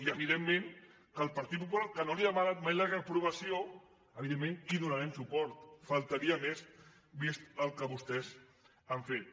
i evidentment el partit popular que no li ha demanat mai la reprovació evidentment que hi donarem suport només faltaria vist el que vostès han fet